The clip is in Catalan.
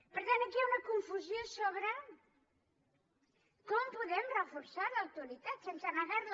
per tant aquí hi ha una confusió sobre com podem reforçar l’autoritat sense negar la